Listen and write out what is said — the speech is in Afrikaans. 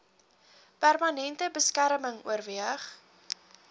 permanente beskerming oorweeg